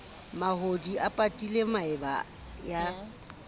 mahodi a patile maeba ya